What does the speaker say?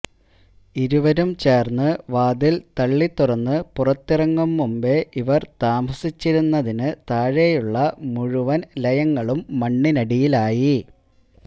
ഇരുവരും ചേര്ന്ന് വാതില് തള്ളി തുറന്ന് പുറത്തിറങ്ങും മുമ്പേ ഇവര് താമസിച്ചിരുന്നതിന് താഴെയുള്ള മുഴുവന് ലയങ്ങളും മണ്ണിനടിയിലായി